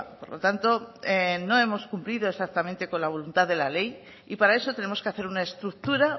por lo tanto no hemos cumplido por lo tanto con la voluntad de la ley y para eso tenemos que hacer una estructura